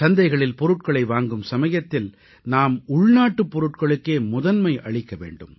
சந்தைகளில் பொருட்களை வாங்கும் சமயத்தில் நாம் உள்நாட்டு பொருட்களுக்கே முதன்மை அளிக்க வேண்டும்